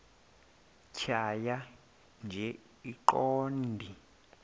tjhaya nje iqondee